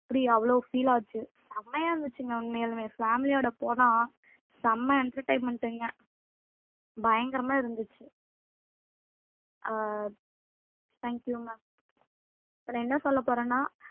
அப்படி அவ்வளவு feel ஆச்சு செமையா இருந்துச்சுங்க உண்மையாலுமே family யோட போனா செம்ம entertainment ங்க பயங்கரமா இருந்துச்சு ஆஹ் thank you ma'am இப்ப என்ன சொல்லப் போறேன்னா